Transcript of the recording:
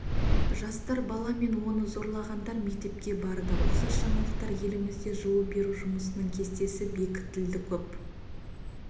жасар бала мен оны зорлағандар мектепке барды ұқсас жаңалықтар елімізде жылу беру жұмысының кестесі бекітілді көп